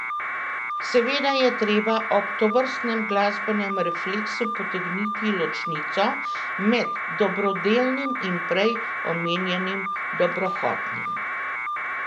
Seveda je treba ob tovrstnem glasbenem refleksu potegniti ločnico med dobrodelnim in prej omenjenim dobrohotnim.